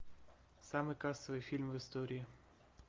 самый кассовый фильм в истории